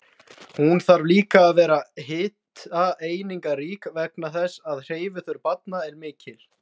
Hún þarf líka að vera hitaeiningarík vegna þess að hreyfiþörf barna er mikil.